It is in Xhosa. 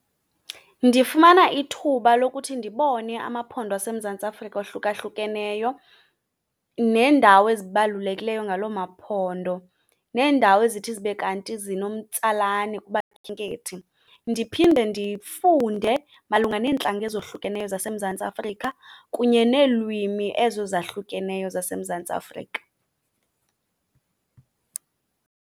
Ndifumana ithuba lokuthi ndibone amaphondo aseMzantsi Afrika ohlukahlukeneyo neendawo ezibalulekileyo ngalo maphondo, neendawo ezithi zibe kanti zinomtsalane kubakhenkethi. Ndiphinde ndifunde malunga neentlanga ezohlukeneyo zaseMzantsi Afrika kunye neelwimi ezo zahlukeneyo zaseMzantsi Afrika.